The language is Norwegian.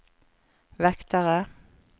vektere